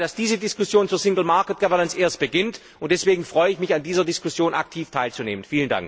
Ich glaube, dass diese Diskussion zur Binnenmarkt Governance erst beginnt, und deswegen freue ich mich, an dieser Diskussion aktiv teilzunehmen.